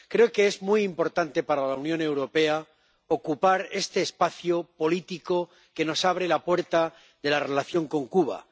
Creo que es muy importante para la Unión Europea ocupar este espacio político que nos abre la puerta de la relación con Cuba.